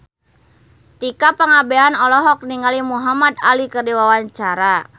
Tika Pangabean olohok ningali Muhamad Ali keur diwawancara